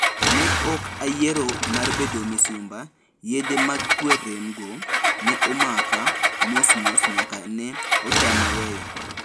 Ne ok ayiero mar bedo misumba yedhe mag kwe rem go - ⁠ne omaka mosmos nyaka ne otama weyo.